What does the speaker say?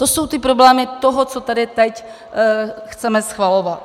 To jsou ty problémy toho, co tady teď chceme schvalovat.